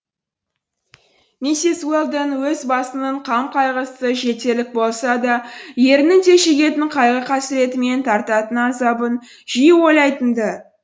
миссис уэлдон өз басының қам қайғысы жетерлік болса да ерінің де шегетін қайғы қасіреті мен тартатын азабын жиі ойлайтын ды